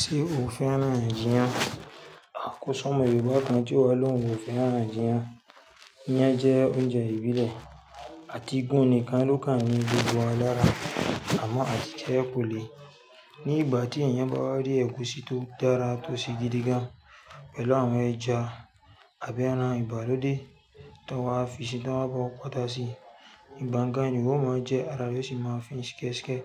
Ṣé o fẹ́ràn ijíyán? À ko si Yorùbá kan tí ìwọ ló ń wò fẹ́ràn ijíyán. Iyán jẹ́ oúnjẹ ìbílẹ̀ àti gún-nìkan ló kàn ní gbogbo wá lára. Àmọ́ àtijẹ́ kò le. Ní ìgbà tí èèyàn bá wá rí ẹ̀gúsí tó dára tò sí gidi gan-an pẹ̀lú àwọn ẹja àbí ẹran ìgbàlódé tí wọ́n á fi sí tiwọn ba o ko atá sí, ìgbà n gan-an ni ó máa jẹ́ ara re o sì máa fín ṣikẹ́sikẹ́.